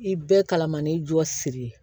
I bɛɛ kalamani jɔsi